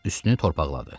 Üstünü torpaqladı.